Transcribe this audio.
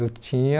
Eu tinha...